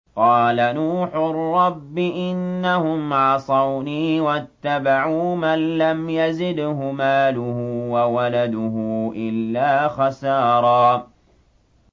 قَالَ نُوحٌ رَّبِّ إِنَّهُمْ عَصَوْنِي وَاتَّبَعُوا مَن لَّمْ يَزِدْهُ مَالُهُ وَوَلَدُهُ إِلَّا خَسَارًا